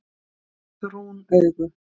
Brún augu